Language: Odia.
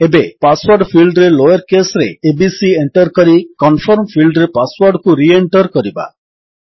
ଏବେ ପାସୱର୍ଡ ଫିଲ୍ଡରେ ଲୋୟର୍ କେସ୍ ରେ ଏବିସି ଏଣ୍ଟର୍ କରି କନଫର୍ମ ଫିଲ୍ଡରେ ପାସୱର୍ଡକୁ ରି ଏଣ୍ଟର୍ କରିବା